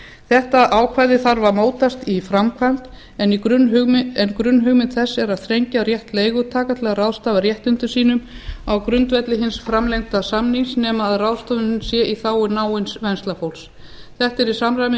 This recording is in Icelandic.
þetta ákvæði þarf að mótast í framkvæmd en grunnhugmynd þess er að þrengja rétt leigutaka til að ráðstafa réttindum sínum á grundvelli hins framlengda samnings nema ráðstöfunin sé í þágu náins venslafólks þetta er í